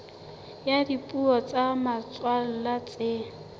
ya dipuo tsa motswalla tse